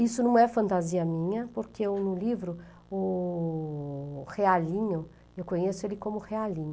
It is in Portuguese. Isso não é fantasia minha, porque no livro, o Realinho, eu conheço ele como Realinho.